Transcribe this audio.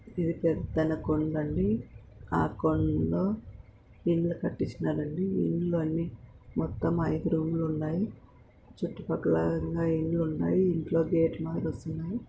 ఇది పెద్దన కొండ అండి ఆ కొండ లో ఇల్లు కట్టించ్చిన్నారండి ఇల్లు అన్ని మొత్తం అయిదు రూమ్ లు ఉన్నాయి చుట్టూ పక్కల ఇంగా ఇండ్లు ఉన్నాయి ఇంట్లో గేట్లు మాదిరి వస్తున్నాయ్.